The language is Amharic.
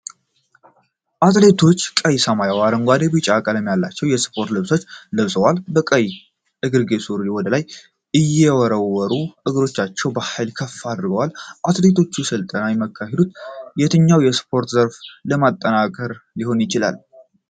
አትሌቶቹ ቀይ፣ ሰማያዊ፣ አረንጓዴ እና ቢጫ ቀለም ያላቸው ስፖርታዊ ልብሶችን ለብሰዋል፤ ከቀይ እግርጌ ሱሪ ወደ ላይ የተወረወሩ እግሮቻቸውን በኃይል ከፍ አድርገዋል። አትሌቶቹ ስልጠና የሚያካሂዱት የትኛውን የስፖርት ዘርፍ ለማጠናከር ሊሆን ይችላል?